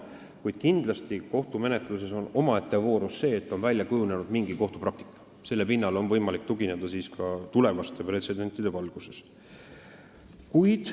Kuid kindlasti on kohtumenetluses omaette voorus see, kui on välja kujunenud mingi kohtupraktika, sest sellele on võimalik tugineda ka tulevaste pretsedentide korral.